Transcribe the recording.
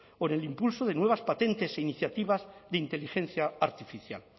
por el incluso de nuevas patentes e iniciativas de inteligencia artificial